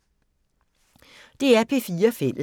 DR P4 Fælles